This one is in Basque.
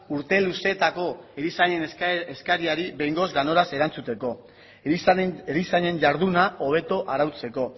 urte luzeetako erizainen eskariari behingoz ganoraz erantzuteko erizainen jarduna hobeto arautzeko